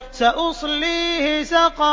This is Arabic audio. سَأُصْلِيهِ سَقَرَ